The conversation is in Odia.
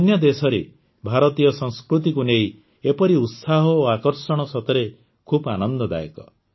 ଅନ୍ୟ ଦେଶରେ ଭାରତୀୟ ସଂସ୍କୃତିକୁ ନେଇ ଏପରି ଉତ୍ସାହ ଓ ଆକର୍ଷଣ ସତରେ ଖୁବ୍ ଆନନ୍ଦଦାୟକ